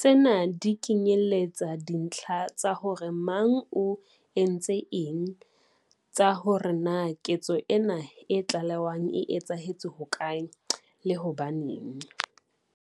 Tsena di kenyeletsa dintlha tsa hore mang o entse eng, tsa hore na ketso ena e tlalewang e etsahetse hokae, le hobaneng.